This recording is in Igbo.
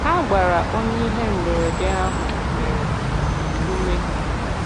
Ha gbara onye ihe mberede ahụ mere, ume.